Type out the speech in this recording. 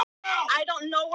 Hörð gagnrýni á Hraðbraut